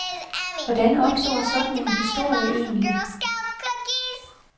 Hvordan opstår sådan en historie egentlig?